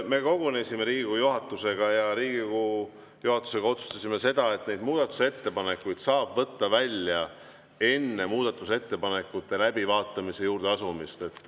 Me kogunesime Riigikogu juhatusega ja otsustasime Riigikogu juhatusega, et muudatusettepanekuid saab võtta välja enne muudatusettepanekute läbivaatamise juurde asumist.